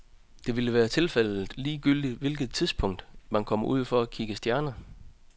Det vil være tilfældet ligegyldigt hvilket tidspunkt, man kommer ud for at kigge stjerner.